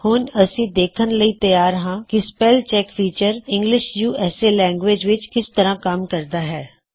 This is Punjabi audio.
ਹੁਣ ਅਸੀ ਦੇਖਣ ਲਈ ਤਿਆਰ ਹਾਂ ਕੀ spell check feature English USA language ਵਿੱਚ ਕਿਸ ਤਰ੍ਹਾਂ ਕੰਮ ਕਰਦਾ ਹੈ